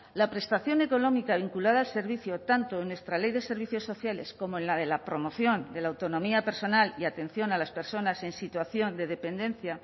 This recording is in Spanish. la prestación económica vinculada al servicio tanto en nuestra ley de servicios sociales como en la de la promoción de la autonomía personal y atención a las personas en situación de dependencia